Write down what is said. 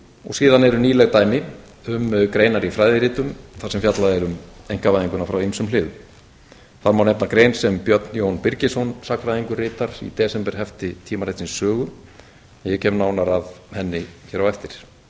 og síðan eru nýleg dæmi um greinar í fræðiritum þar sem fjallað er um einkavæðinguna frá ýmsum hliðum þar má nefna grein sem björn jón birgisson sagnfræðingur ritar í desemberhefti tímaritsins sögu en ég kem nánar að henni hér á eftir síðast